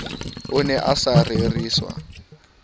o ne a sa reriswa